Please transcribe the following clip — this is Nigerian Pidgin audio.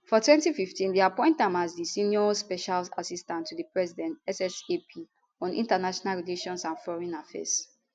for 2015 dem appoint am as di senior special assistant to di president ssap on international relations and foreign affairs